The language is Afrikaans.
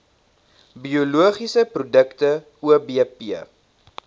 biologiese produkte obp